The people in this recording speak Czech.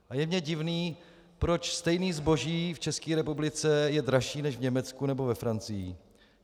A je mně divné, proč stejné zboží v České republice je dražší než v Německu nebo ve Francii.